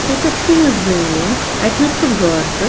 .ییٚتٮ۪تھ چُھ یہِ زٔمیٖن اَتہِ نس چُھ گاسہٕ